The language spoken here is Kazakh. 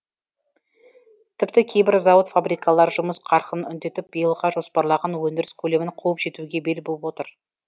тіпті кейбір зауыт фабрикалар жұмыс қарқынын үдетіп биылға жоспарлаған өндіріс көлемін қуып жетуге бел буып отыр